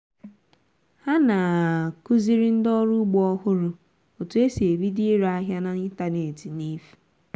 há nà à-kụziri ndị ọrụ ugbo ọhụrụ etú e si ebido ire áhịá n'ịntañánétị n'efù